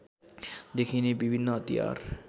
देखिने विभिन्न हतियार